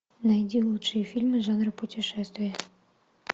найди лучшие фильмы жанра путешествия